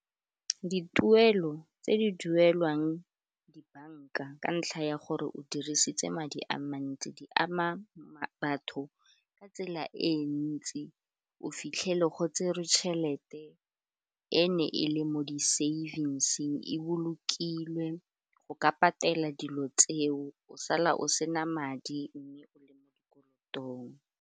Dituelo tse di duelwang dibanka ka ntlha ya gore o dirisitse madi a mantsi di ama batho ka tsela e ntsi o fitlhele go tse re tšhelete, e ne e le mo di savings e bolokilwe go ka patela dilo tseo o sala o sena madi mme o le mo dikolotong.